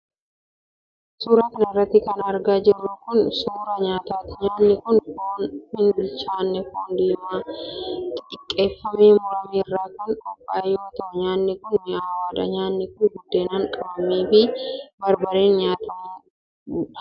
Suura kana irratti kan argaa jirru kun, suura nyaataati. Nyaanni kun foon hin bilchaanne foon diimaa xixiqqeeffamee murame irraa kan qophaa'e yoo ta'u, nyaanni kun mi'awaadha. Nyaanni kun buddeenaan qabamee fi barbarreen xuqamee nyaatama.